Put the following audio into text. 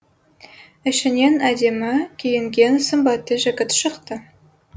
ішінен әдемі киінген сымбатты жігіт шықты